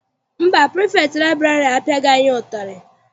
Mba, pirifektị liburary apiaghi anyị ụtarị.